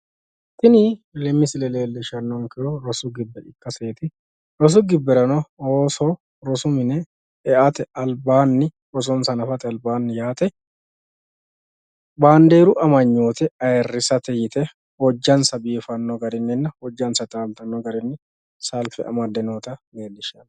Tini misile leellishshannonkehu rosu gibbe ikkaseeti rosu gibberano ooso rosu mine e"ate albaanni rosonsa hanafate albaanni yaate bandeeru amanyoote ayiirrisate yite hojjansa biifanno garinninna hojjansa taaltino garinni salfe amadde noota leellishanno